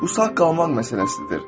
Bu sağ qalmaq məsələsidir.